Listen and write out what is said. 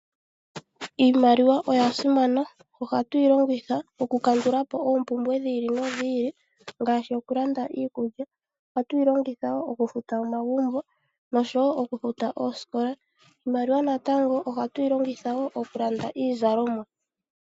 Iimaliwa oya simana ohatu yilongitha oku kandulapo oompumbwe dhi ili no dhi ili. Ngaashi oku landa iikulya. Ohatu yi longitha woo oku futa omagumbo nosho woo oku futa oosikola. Iimaliwa natango ohatu yi longitha woo oku landa iizalomwa.